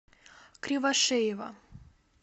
кривошеева